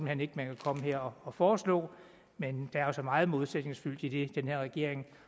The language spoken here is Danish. hen ikke man kan komme her og foreslå men der er jo så meget modsætningsfyldt i det den her regering